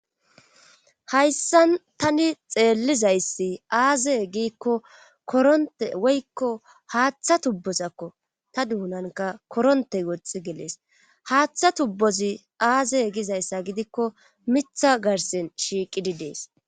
Hayssa tani xeellizayssi aaze giikko koronte woykko haaththa tubbozakko ta duunanka korontey woxxi gelees haaththa tubbozi aaze gizayssa gidikko mitha garsen shiiqidi dees.